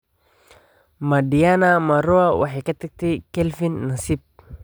ma diana marua waxay ka tagtay kelvin nasiib